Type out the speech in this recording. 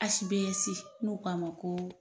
HBS n'u k'a ma koo